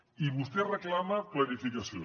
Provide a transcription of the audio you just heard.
i vostè reclama planificació